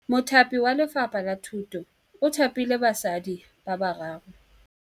Mothapi wa Lefapha la Thutô o thapile basadi ba ba raro.